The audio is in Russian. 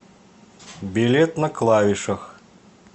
билет на клавишах